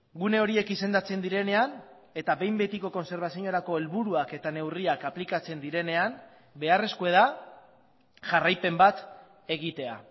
gune horiek izendatzen direnean eta behin betiko kontserbaziorako helburuak eta neurriak aplikatzen direnean beharrezkoa da jarraipen bat egitea